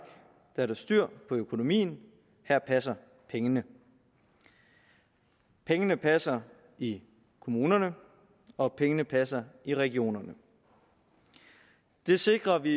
er der styr på økonomien her passer pengene pengene passer i kommunerne og pengene passer i regionerne det sikrer vi